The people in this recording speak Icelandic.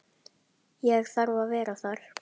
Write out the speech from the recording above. Ég þarf að vera þar.